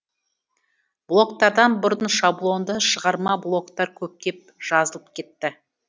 блогтардан бұрын шаблонды шығарма блогтар көптеп жазылып кетті